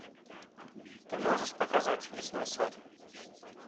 ты можешь показать лесной царь